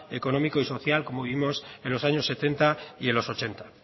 económico y social como vivimos en los años setenta y en los ochenta